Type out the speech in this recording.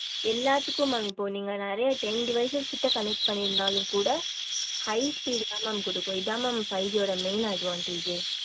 எல்லாத்துக்கும் mam இப்போ நெறைய ten devices கிட்ட connect பன்னிருந்தாலும் கூட high speed தா mam குடுக்கும் இத mam five G ஓட main advantage எர்